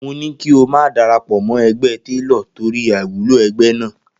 Mo ni kí o má darapọ̀ mọ́ ẹgbẹ́ Télò torí àìwúlò ẹgbẹ́ náà.